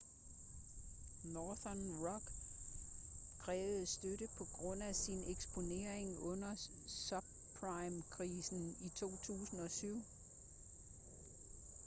northern rock krævede støtte på grund af sin eksponering under subprime-krisen i 2007